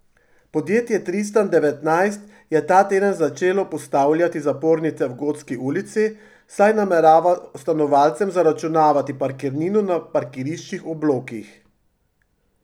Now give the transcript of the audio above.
Podjetje Tristan devetnajst je ta teden začelo postavljati zapornice v Gotski ulici, saj namerava stanovalcem zaračunavati parkirnino na parkiriščih ob blokih.